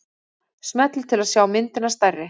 Smellið til að sjá myndina stærri.